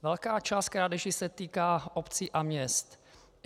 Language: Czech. Velká část krádeží se týká obcí a měst.